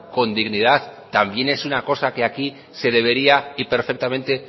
con dignidad también es una cosa que aquí se debería y perfectamente